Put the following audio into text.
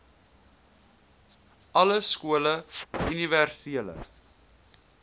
alle skole universele